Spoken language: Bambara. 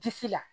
Disi la